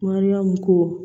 Mariyamu ko